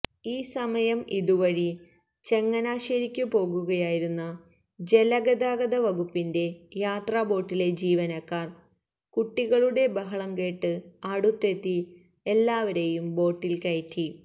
ഈ സമയം ഇതുവഴി ചങ്ങനാശേരിക്കു പോകുകയായിരുന്ന ജലഗതാഗതവകുപ്പിന്റെ യാത്രാബോട്ടിലെ ജീവനക്കാർ കുട്ടികളുടെ ബഹളംകേട്ട് അടുത്തെത്തി എല്ലാവരെയും ബോട്ടിൽ കയറ്റി